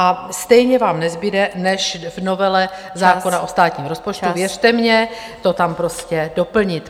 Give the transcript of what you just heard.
A stejně vám nezbude, než v novele zákona o státním rozpočtu, věřte mně, to tam prostě doplnit.